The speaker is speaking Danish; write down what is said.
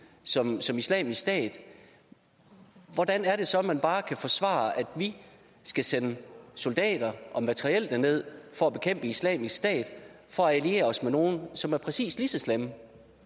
som som islamisk stat hvordan er det så at man bare kan forsvare at vi skal sende soldater og materiel derned for at bekæmpe islamisk stat for at alliere os med nogle som er præcis lige så slemme